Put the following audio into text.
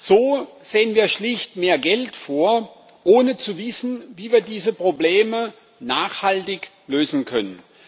So sehen wir schlicht mehr Geld vor, ohne zu wissen, wie wir diese Probleme nachhaltig lösen können.